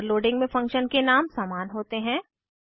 overloading में function के नाम समान होते हैं